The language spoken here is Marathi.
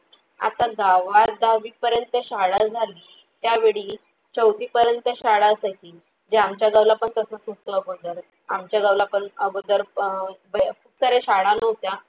आता गावात दहावी पर्यंत शाळा झाली. त्यावेळी चौथी पर्यंत शाळा च अशील जे आमच्या गावला पण तसंच होत अगोदर. आमच्या गावाला पण अगोदर प अ एकतर शाळा नव्हत्या